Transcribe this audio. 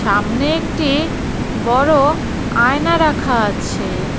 সামনে একটি বড় আয়না রাখা আছে।